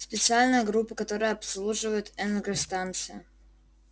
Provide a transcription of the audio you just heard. специальная группа которая обслуживает энергостанции